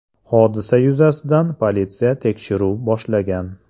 Hodisa yuzasidan politsiya tekshiruv boshlagan.